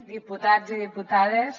diputats i diputades